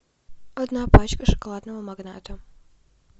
одна пачка шоколадного магната